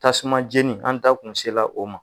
Tasuma jeni ,an da kun sela o ma.